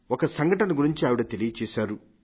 ఒక సంఘటన గురించి ఆవిడ తెలియజేశారు